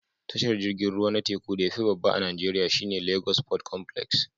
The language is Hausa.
Tashar jirgin ruwa na teku da ya fi babba a Najeriya shi ne Lagos Port Complex